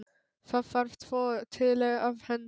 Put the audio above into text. Það þarf tvo til að endur